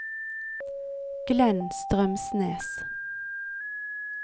Glenn Strømsnes